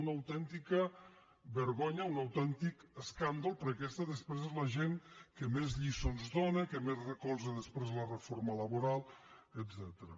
una autèntica vergonya un autèntic escàndol perquè aquesta després és la gent que més lliçons dóna que més recolza després la reforma la·boral etcètera